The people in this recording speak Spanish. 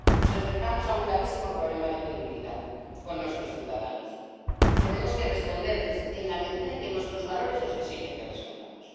Nos enfrentamos a un gravísimo problema de credibilidad con nuestros ciudadanos y tenemos que responderles en la medida en que nuestros valores nos exigen que respondamos.